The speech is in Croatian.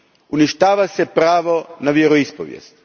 Uništava se pravo na vjeroispovijest.